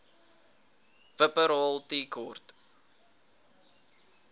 wupperthal tea court